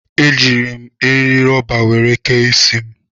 Ejiiri m eri rọba were kee isi m.